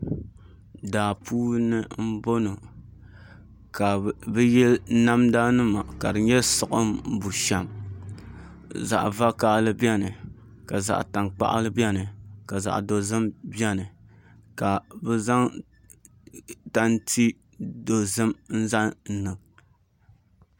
Daa puuni n bɔŋɔ ka bi yili namda nima ka di nyɛ siɣim bushɛm zaɣ vakaɣali biɛni ka zaɣ tankpaɣu biɛni ka zaɣ dozim biɛni ka bi zaŋ tanti dozim n zaŋ niŋ